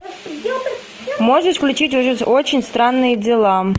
можешь включить очень странные дела